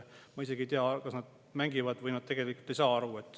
Ma isegi ei tea, kas nad mängivad või nad tegelikult ei saa aru.